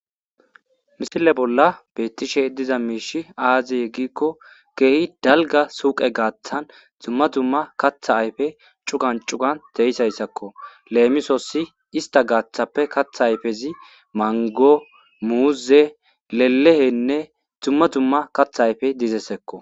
Misile bollan betishe dizayisi aze giyaba gidiko kehi dalga suqe gidon duma duma katha ayife dizayisako lemisos ista gidoppe mango muze lelehenne duma duma katha ayife dizayisako